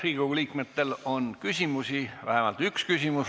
Riigikogu liikmetel on ka küsimusi, vähemalt üks küsimus.